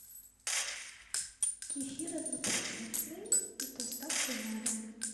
кефир однопроцентный с доставкой на дом